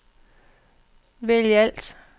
vælg alt